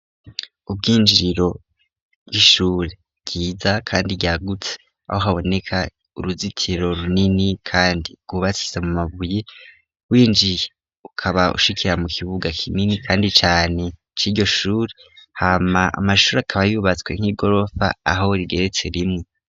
Ubwinjiriro bw'ishuri bwiza kandi ryagutse aho haboneka uruzitiro runini kandi rwubakitse mu mabuye, winjiye ukaba ushikira mu kibuga kinini kandi cane c'iryo shuri, hama amashuri akaba yubatswe nk'igorofa aho rigeretse rimwe.